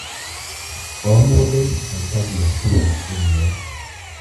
O mũndũ aikagia kura ĩmwe.